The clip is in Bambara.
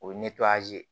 O ye